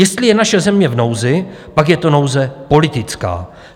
Jestli je naše země v nouzi, pak je to nouze politická.